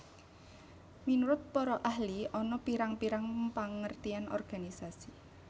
Minurut para ahli ana pirang pirang pengertian organisasi